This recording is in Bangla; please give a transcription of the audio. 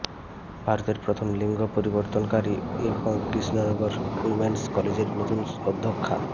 ভারতের প্রথম লিঙ্গ পরিবর্তনকারী এখন কৃষ্ণনগর উইমেন্স কলেজের নতুন অধ্যক্ষা